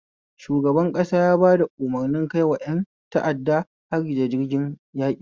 Shugaban ƙasa yaba umarni kaiwa ƴan ta'adda hari da jirgin yaƙi